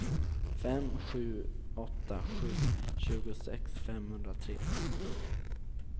fem sju åtta sju tjugosex femhundratre